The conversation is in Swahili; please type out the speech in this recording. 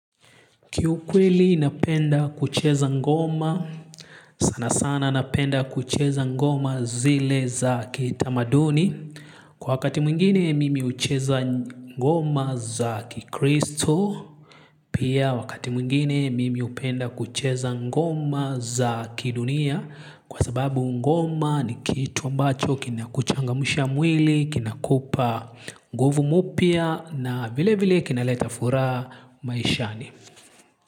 Kiu kweli napenda kucheza ngoma, sana sana napenda kucheza ngoma zile za kitamaduni. Kwa wakati mwingine mimi hucheza ngoma za kikristu. Pia wakati mwingine mimi upenda kucheza ngoma za kidunia. Kwa sababu ngoma ni kitu ambacho kinakuchangamsha mwili, kinakupa nguvu mupia na vile vile kinaleta furaha maishani.